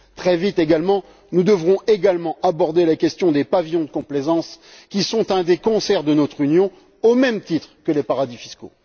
Très vite également, nous devrons aborder la question des pavillons de complaisance, qui sont un des cancers de notre Union, au même titre que les paradis fiscaux.